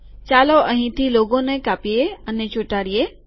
ચાલો અહીંથી લોગોને કાપીએ અને ચોંટાડીએ